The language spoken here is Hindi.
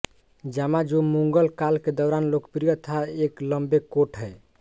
जामा जो मुगल काल के दौरान लोकप्रिय था एक लंबे कोट है